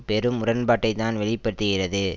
பெரும் முரண்பாட்டைத்தான் வெளி படுத்துகிறது